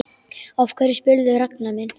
Af hverju spyrðu, Ragnar minn?